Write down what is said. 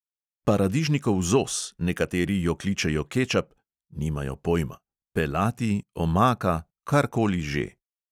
Paradižnikov zos, nekateri jo kličejo kečap (nimajo pojma!), pelati, omaka, kar koli že.